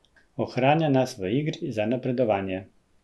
Ohranja nas v igri za napredovanje.